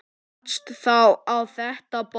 Rakst þá á þetta box.